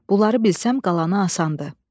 Bunları bilsəm qalanı asandır.